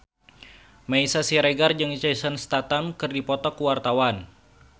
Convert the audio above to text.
Meisya Siregar jeung Jason Statham keur dipoto ku wartawan